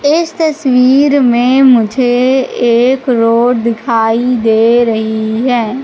इस तस्वीर मे मुझे एक रोड दिखाई दे रही है।